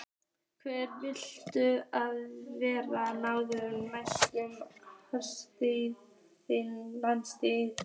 Hver viltu að verði ráðinn næsti landsliðsþjálfari?